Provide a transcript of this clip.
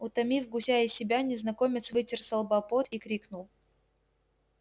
утомив гуся и себя незнакомец вытер со лба пот и крикнул